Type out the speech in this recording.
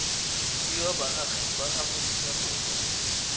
fiwa baagi ba aforika borwa